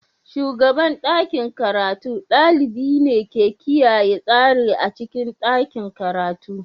Shugaban ɗakin karatu ɗalibi ne ke kiyaye tsari a cikin ɗakin karatu.